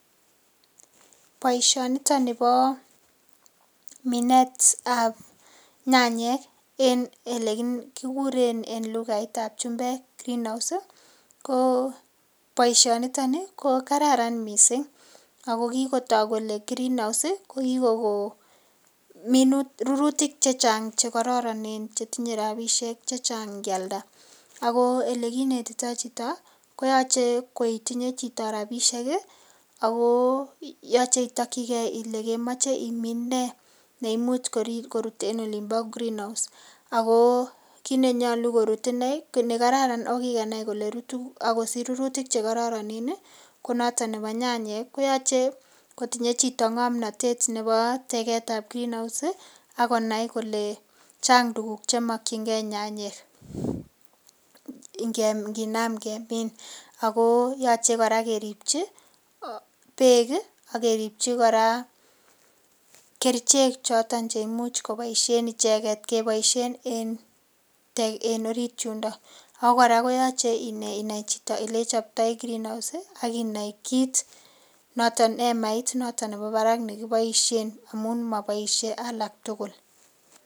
Boishoniton nibo minetab nyanyik en ele kikuren en lughaitab vhumbet greenhouse boishoniton nii ko kararan missing ako kit kotok kole green house sii ko ki Koko minutik rurutik che Chang chekororon chetinyee rabishek che Chang nkialda. Ako ole kinetito chito koyoche ko itinye chito rabishek kii ako yoche itokigee kole kemoche imin nee neimuch korut en olimbo gree house ako kit nenyolu korut inee nekararan nekikenai kole rutu ak kosich rurutik che kororone nii ko noton nebo nyanyik koyoche kotinye chito ngomnotet nebo teketab green house si ak Konai kole Chang tukuk chemokingee nyanyik inkinam kemin ako yoche Koraa keripchi beek kii ak keripchi Koraa kerichek choton cheimuche koboishen icheket keboishen en Tek en orit yundon. Ako Koraa koyoche inai chito oleichoptoi green house si ak inai kit noton emait noton nebo barak nekiboishen amun moboishe alak tukuk.